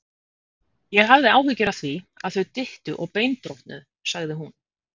Ég hafði áhyggjur af því, að þau dyttu og beinbrotnuðu sagði hún.